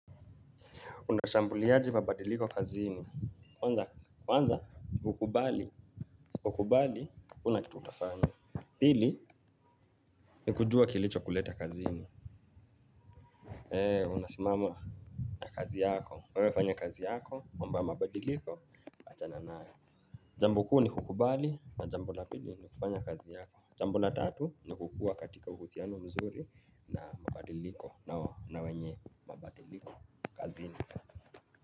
Unashambuliaji mabadiliko kazini. Kwanza nikukubali usipo kubali huna kitu utafanya. Pili, ni kujua kilicho kuleta kazini. Eee, unasimama na kazi yako, wewe fanya kazi yako, mamboya mabadiliko, achana nayo. Jambo kuu ni kukubali, na jambo la pili ni kufanya kazi yako. Jambo la tatu ni kukuwa katika uhusiano mzuri na mabadiliko na wenye mabadilko.